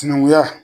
Sinankunya